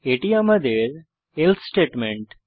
এটি আমাদের else statement